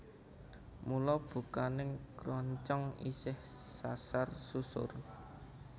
Mula bukaning kroncong isih sasar susur